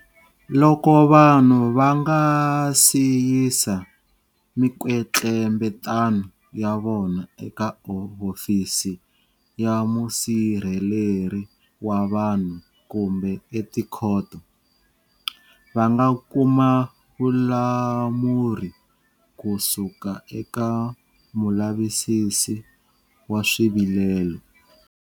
Loko vanhu va nga si yisa mikwetlembetano ya vona eka Hofisi ya Musirheleri wa Vanhu kumbe etikhoto, va nga kuma vulamuri kusuka eka Mulavisisi wa Swivilelo.